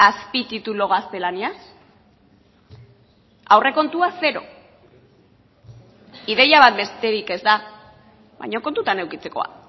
azpititulu gaztelaniaz aurrekontua zero ideia bat besterik ez da baina kontutan edukitzekoa